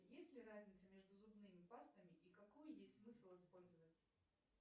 есть ли разница между зубными пастами и какую есть смысл использовать